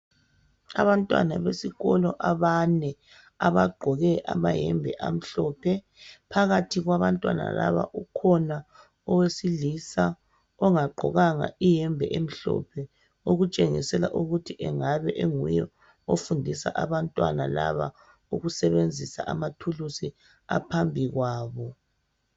Abantwana besikolo abane abagqoke amahembe amhlophe. Phakathi kwabantwana laba ukhona owesilisa ongagqokanga ihembe emhlophe okutshengisela ukuthi engabe enguye ofundisa abantwana laba ukusebenzisa amathulusi aphambi kwabo